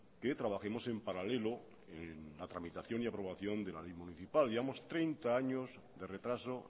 que trabajemos en paralelo en la tramitación y aprobación de la ley municipal llevamos treinta años de retraso